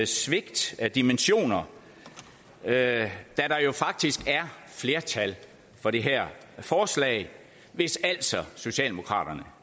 svigt af dimensioner da der jo faktisk er flertal for det her forslag hvis altså socialdemokraterne